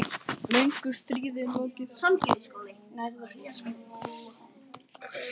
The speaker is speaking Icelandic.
Löngu stríði er lokið.